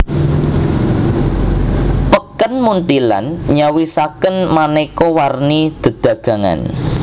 Peken Munthilan nyawisaken manéka warni dedagangan